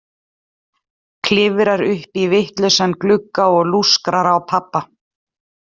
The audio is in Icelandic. Klifrar upp í vitlausan glugga og lúskrar á pabba!